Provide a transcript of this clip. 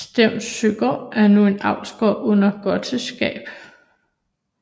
Savnsøgård er nu en avlsgård under Gottesgabe